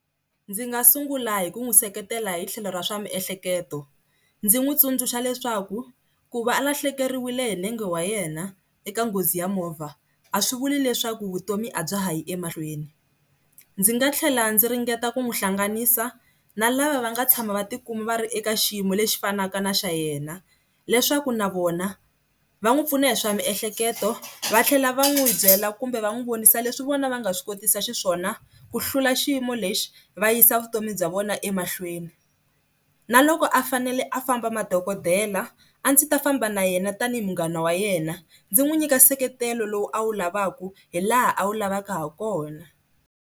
Ndzi nga sungula hi ku n'wi seketela hi tlhelo ra swa miehleketo, ndzi n'wi tsundzuxa leswaku ku va alahlekeriwile hi nenge wa yena eka nghozi ya movha a swi vuli leswaku vutomi a bya ha yi emahlweni. Ndzi nga tlhela ndzi ringeta ku n'wi hlanganisa na lava va nga tshama va tikuma va ri eka xiyimo lexi fanaka na xa yena leswaku na vona va n'wi pfuna hi swa miehleketo va tlhela va n'wi byela kumbe va n'wi vonisa leswi vona va nga swi kotisa xiswona ku hlula xiyimo lexi va yisa vutomi bya vona emahlweni, na loko a fanele a famba madokodela a ndzi ta famba na yena tanihi munghana wa yena ndzi n'wi nyika nseketelo lowu a wu lavaka hi laha a wu lavaka ha kona.